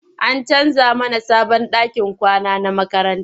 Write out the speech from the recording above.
An canja mana sabon ɗakin kwana na makaranta.